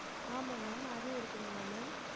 ஆமா ma'am அதுவும் இருக்குதுங்களா ma'am?